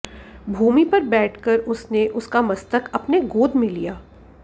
भूमिपर बैठकर उसने उसका मस्तक अपने गोदमें लिया